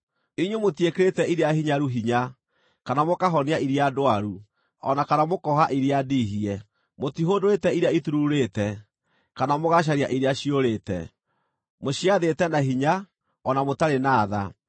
Inyuĩ mũtiĩkĩrĩte iria hinyaru hinya, kana mũkahonia iria ndwaru, o na kana mũkooha iria ndiihie. Mũtihũndũrĩte iria itururĩte, kana mũgacaria iria ciũrĩte. Mũciathĩte na hinya, o na mũtarĩ na tha.